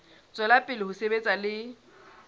tswela pele ho sebetsa le